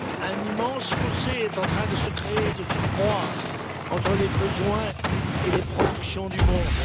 Un immense fossé est en train de se créer de surcroît entre les besoins et les productions du monde.